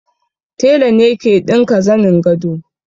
Tela ne ke ɗinka zanin gado